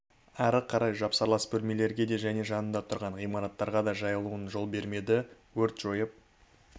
ары қарай жапсарлас бөлмелерге де және жанында тұрған ғимараттарға да жайылуына жол бермеді өрт жойылып